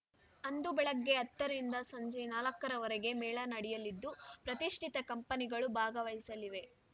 ಅಂದು ಬೆಳಿಗ್ಗೆ ಹತ್ತರಿಂದ ಸಂಜೆ ನಾಲ್ಕರವರೆಗೆ ಮೇಳ ನಡೆಯಲಿದ್ದು ಪ್ರತಿಷ್ಠಿತ ಕಂಪನಿಗಳು ಭಾಗವಹಿಸಲಿವೆ